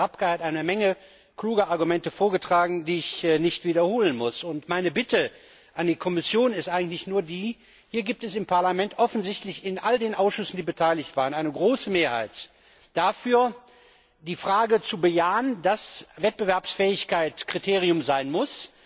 Der Kollege Rapkay hat eine Menge kluger Argumente vorgetragen, die ich nicht wiederholen muss. Meine Bitte an die Kommission ist eigentlich nur die Hier gibt es im Parlament offensichtlich in all den Ausschüssen, die beteiligt waren, eine große Mehrheit dafür, die Frage zu bejahen, dass Wettbewerbsfähigkeit ein Kriterium sein muss.